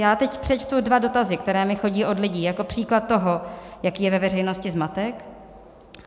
Já teď přečtu dva dotazy, které mi chodí od lidí, jako příklad toho, jaký je ve veřejnosti zmatek.